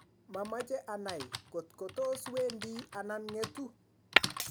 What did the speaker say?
mamache anai kotko tos wendi anan ngetu